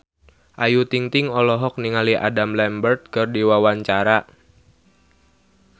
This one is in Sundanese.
Ayu Ting-ting olohok ningali Adam Lambert keur diwawancara